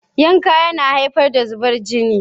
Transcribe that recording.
Yanke yana haifar da zubar jini